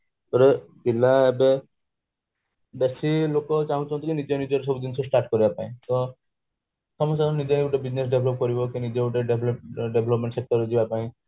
ଯୋଉଟା ଥିଲା ଏବେ ବେଶି ଲୋକ ଚାହୁଁଛନ୍ତି କି ନିଜେ ନିଜର ସବୁ ଜିନିଷ start କରିବା ପାଇଁ ତ ନିଜ ନିଜର business develop କରିବା କି ନିଜେ ଗୋଟେ development sector ରେ ଯିବା ପାଇଁ